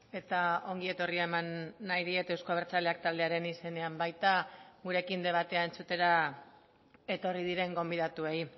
eta ongi etorria eman nahi diet euzko abertzaleak taldearen izenean baita gurekin debatea entzutera etorri diren gonbidatuei